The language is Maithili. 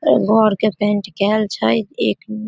घर के पेंट केएल छै एक --